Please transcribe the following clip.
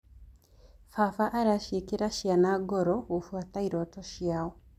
Baba araciĩkĩra ciana ngoro gũbuata irooto ciao.